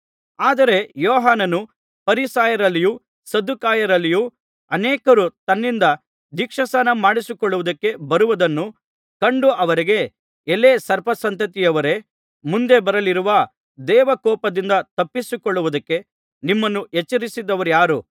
ಆದರೆ ಯೋಹಾನನು ಫರಿಸಾಯರಲ್ಲಿಯೂ ಸದ್ದುಕಾಯರಲ್ಲಿಯೂ ಅನೇಕರು ತನ್ನಿಂದ ದೀಕ್ಷಾಸ್ನಾನಮಾಡಿಸಿಕೊಳ್ಳುವುದಕ್ಕೆ ಬರುವುದನ್ನು ಕಂಡು ಅವರಿಗೆ ಎಲೈ ಸರ್ಪಸಂತತಿಯವರೇ ಮುಂದೆ ಬರಲಿರುವ ದೈವಕೋಪದಿಂದ ತಪ್ಪಿಸಿಕೊಳ್ಳುವುದಕ್ಕೆ ನಿಮ್ಮನ್ನು ಎಚ್ಚರಿಸಿದವರಾರು